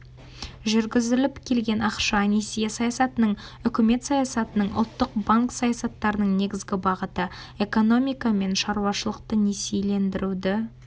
жүргізіліп келген ақша-несие саясатының үкімет саясатының ұлттық банк саясаттарының негізгі бағыты экономика мен шаруашылықты несиелендіруді